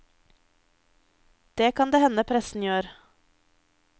Det kan det hende pressen gjør.